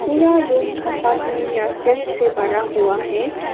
पूरा room compartment या shelf से बरा हुआ है।